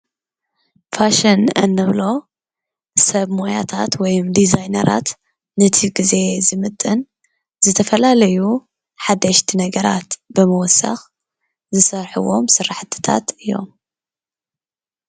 ፋሽን እንብሎ ሰብ ሞያታት ወይም ዲዛይነራት ንቲ ግዜ ዝምጥን ዝተፈላለዩ ሓደሽቲ ነገራት ብምውሳኽ ዝሰርሕዎም ስራሕቲታት እዮም።